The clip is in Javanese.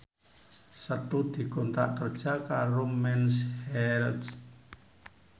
Setu dikontrak kerja karo Mens Health